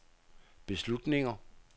beslutninger